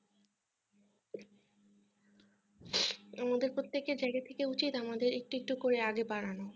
আমাদের প্রত্যেকের জায়গা থেকে উচিত আমাদের একটু একটু করে আগে বাড়ানো